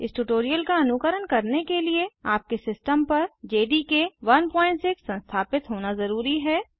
इस ट्यूटोरियल का अनुकरण करने के लिए आपके सिस्टम पर जेडीके 16 संस्थापित होना जरूरी है